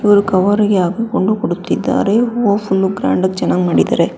ಇವರು ಕವರ್ ರಿಗೆ ಹಾಕಿಕೊಂಡು ಕೊಡುತ್ತಿದ್ದಾರೆ ಹೂವ ಫುಲ್ ಗ್ರಾಂಡಾ ಗಿ ಚೆನಾಗ್ ಮಾಡಿದಾರೆ.